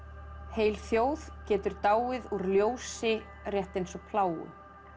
heil þjóð getur dáið úr ljósi rétt eins og plágu